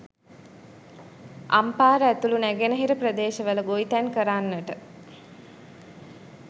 අම්පාර ඇතුළු නැගෙනහිර ප්‍රදේශවල ගොවිතැන් කරන්නට